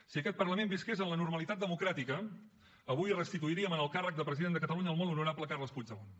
si aquest parlament visqués en la normalitat democràtica avui restituiríem en el càrrec de president de catalunya el molt honorable carles puigdemont